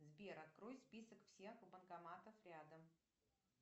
сбер открой список всех банкоматов рядом